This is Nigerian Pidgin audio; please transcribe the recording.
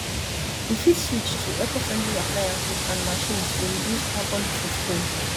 we fit switch to ecofriendly appliances and machines to reduce carbon footprint